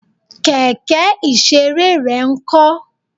Kẹ̀kẹ́ ìṣeré rẹ ń kó?